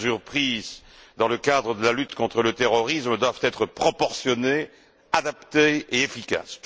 Les mesures prises dans le cadre de la lutte contre le terrorisme doivent être proportionnées, adaptées et efficaces.